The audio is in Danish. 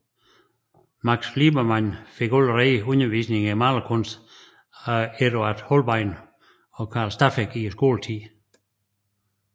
Max Liebermann fik allerede undervisning i malekunst af Eduard Holbein og Carl Steffeck i skoletiden